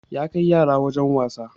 Ya kai yara wajen wasa